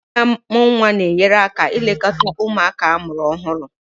Ndị na amu nwa na-enyere aka ilekọta ụmụaka amụrụ ọhụrụ.